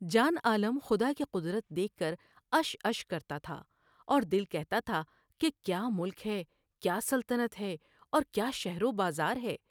جان عالم خدا کی قدرت دیکھ کر عش عش کرتا تھا اور دل کہتا تھا کہ کیا ملک ہے ، کیا سلطنت ہے اور کیا شہر و بازار ہے ۔